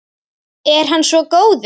Er hann svo góður?